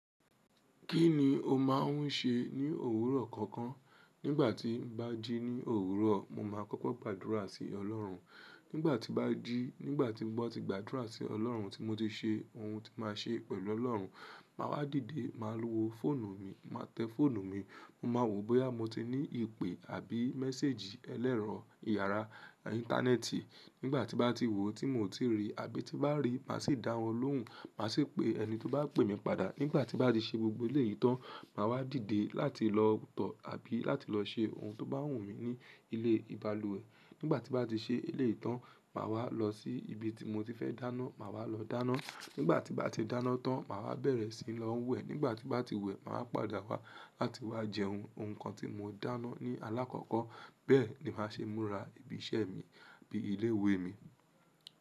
Kí ni o máa n ṣe ní òwúrọ̀ kankan? Nígbà tí n bá jí ní òwúrọ̀, mo máa kọ́kọ́ gbàdúrà sí ọlọ́run. Nígbà tí bá jí, nígbà tí mo ti gbàdúrà sí ọlọ́run tí mo ti ṣe ohun tí máa ṣe pẹ̀lú ọlọ́run, màá wá dìde, màá lo fọ́ọ̀nù mi, màá tẹ fọ́ọ̀nù mi, mo máa wo bóyá mo ti ní ìpè àbí message ẹlẹ́rọ ìyára ìntánẹ́ẹ̀tì. Nígbà tí bá ti wò tí mo ò tíì rí àbí tí bá rí, màá sì dá wọn lóhùn. Màá sì pe ẹni tí ó bá pè mi padà. Nígbà tí bá ti ṣe gbogbo ilé ìtán, màá wá dìde láti lọ tọ̀ àbí láti lọ ṣe ohun tó bá wù mí ní ilé ìbalùwẹ̀. Nígbà tí bá ti ṣe ilé ìtán, màá wá lọ sí ibi tí mo ti fẹ́ dáná, màá wá lọ dáná. Nígbà tí bá ti dáná tán, màá wá bẹ̀rẹ̀ sí lọ wẹ̀. Nígbà tí bá ti wẹ̀, màá padà wá láti wá jẹun, ohun kan tí mo dáná ní alákọ́kọ́. Bẹ́ẹ̀ ni màá ṣe ń múra ibi iṣẹ́ mi bí i ilé ìwé mi.